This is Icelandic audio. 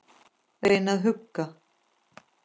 Reyna að hugga.